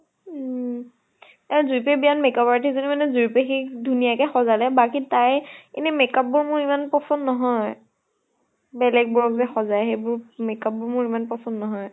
উম । এ যুৰি পাহীৰ বিয়াত makeup artist জনী মানে যুৰি পাহীক ধুনীয়াকে সজালে, বাকী তাই এনে makeup বোৰ মোৰ ইমান পচন্দ নহয়। বেলেগ বোৰক যে সজায় সেইবোৰ makeup বোৰ মোৰ ইমান পচন্দ নহয়।